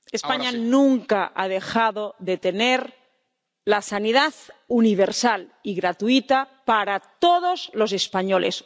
España nunca ha dejado de tener la sanidad universal y gratuita para todos los españoles.